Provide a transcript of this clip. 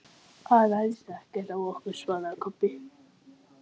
Stundum er þó hluthafafundi skylt að ákveða félagsslit.